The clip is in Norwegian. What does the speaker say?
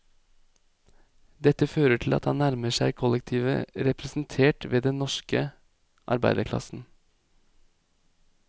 Dette fører til at han nærmer seg kollektivet representert ved den norske arbeiderklassen.